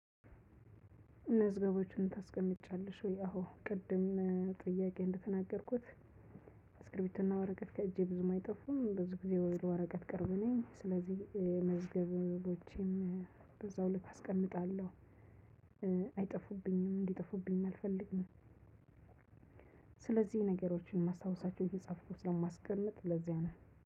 መዝገቦችን ታስቀምጫለሽ ወይ? አዎ ቅድም ጥያቄ ላይ እንደተናገርኩት እስክርብቶና ወረቀት ከእጄ ብዙም አይጠፋም ብዙ ግዜ ለወረቀት ቅርብ ነኝ። ስለዚህ መዝገቦቼን በዛ ልክ አስቀምጣለሁ። አይጠፉብኝም እንዲጠፉብኝም አልፈልግም። ስለዚህ ነገሮችን ማስታወሳቸው እየጻፍኩት ለማስቀመጥ ለዚያ ነው